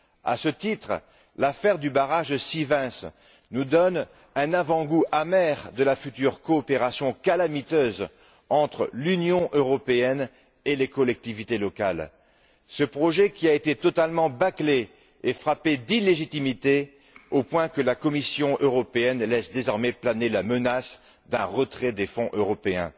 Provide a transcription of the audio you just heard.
À ce titre, l'affaire du barrage de Sivens nous donne un avant goût amer de la future coopération calamiteuse entre l'Union européenne et les collectivités locales. Ce projet a été totalement bâclé et frappé d'illégitimité au point que la Commission européenne laisse désormais planer la menace d'un retrait des fonds européens.